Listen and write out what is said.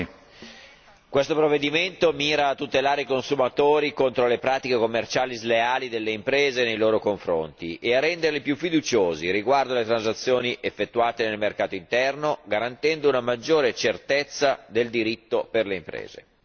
Signor Presidente, questo provvedimento mira a tutelare i consumatori contro le pratiche commerciali sleali delle imprese nei loro confronti e a renderli più fiduciosi riguardo alle transazioni effettuate nel mercato interno, garantendo una maggiore certezza del diritto per le imprese.